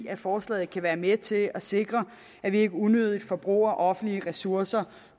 at forslaget kan være med til at sikre at vi ikke unødigt forbruger offentlige ressourcer